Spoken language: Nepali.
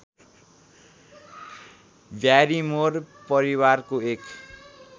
ब्यारिमोर परिवारको एक